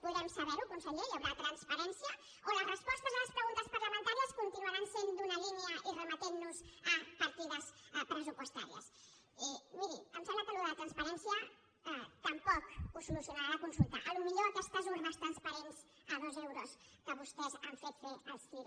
podrem saber ho conseller hi haurà transparència o les respostes a les preguntes parlamentàries continuaran sent d’una línia i remetent nos a partides pressupostàries i miri em sembla que això de la transparència tampoc ho solucionarà la consulta potser aquestes urnes transparents a dos euros que vostès han fet fer al cire